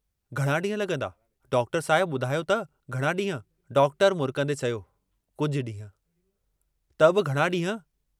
"घणा डींह लगंदा, डॉक्टर साहिब बुधायो त घणा डींहं?